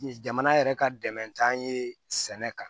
Jamana yɛrɛ ka dɛmɛtan ye sɛnɛ kan